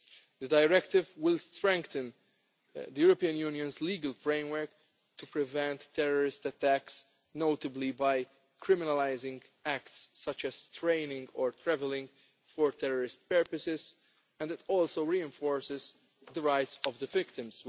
The directive will strengthen the European Union's legal framework to prevent terrorist attacks, notably by criminalising acts such as training or travelling for terrorist purposes, and it also reinforces the rights of the victims.